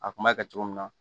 A kun b'a kɛ cogo min na